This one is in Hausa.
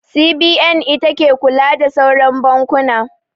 CBN ita ke kula da sauran bankuna.